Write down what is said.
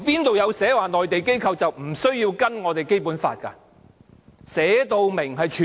哪裏說內地機構是無須遵守《基本法》的？